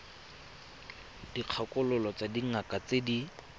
dikgakololo tsa dingaka tse di